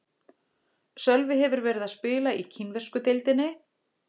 Sölvi hefur verið að spila í kínversku deildinni.